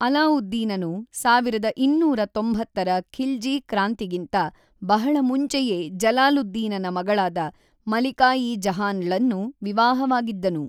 ಅಲಾವುದ್ದೀನನು ೧೨೯೦ರ ಖಿಲ್ಜಿ ಕ್ರಾಂತಿಗಿಂತ ಬಹಳ ಮುಂಚೆಯೇ ಜಲಾಲುದ್ದೀನನ ಮಗಳಾದ ಮಲಿಕಾ-ಇ-ಜಹಾನ್‌ಳನ್ನು ವಿವಾಹವಾಗಿದ್ದನು.